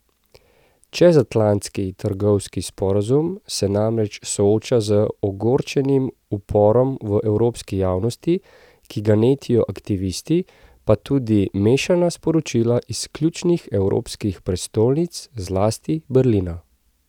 Čezatlantski trgovinski sporazum se namreč sooča z ogorčenim uporom v evropski javnosti, ki ga netijo aktivisti, pa tudi mešana sporočila iz ključnih evropskih prestolnic, zlasti Berlina.